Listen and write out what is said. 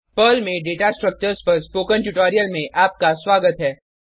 Perl में data structures पर spoken tutorial में आपका स्वागत है